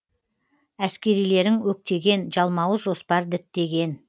әскерилерің өктеген жалмауыз жоспар діттеген